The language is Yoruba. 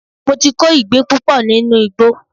Mo ti kó ìgbín púpọ̀ nínú ìgbó